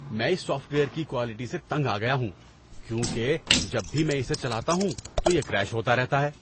میں اس software کی کوالٹی سے تنگ آ گیا ہوں کیونکہ جب بھی میں اسے چلاتا ہوں تو یہ کریش ہوتا رہتا ہے۔